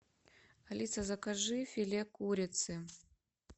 алиса закажи филе курицы